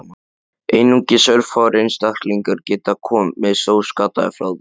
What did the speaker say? Einungis örfáir einstaklingar geti komist óskaddaðir frá því.